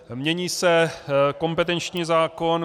Mění se kompetenční zákon.